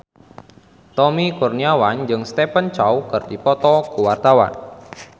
Tommy Kurniawan jeung Stephen Chow keur dipoto ku wartawan